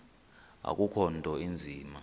akukho nto inzima